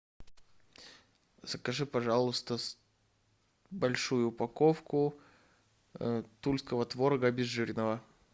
закажи пожалуйста большую упаковку тульского творога обезжиренного